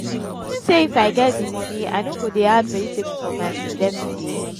you think say if i get the money i no go dey add vegetable for my food everyday?